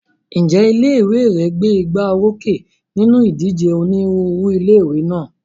Ǹjẹ́ ilé ìwé rẹ gbé igbá orókè nínú ìdíje onírúurú ilé ìwé náà?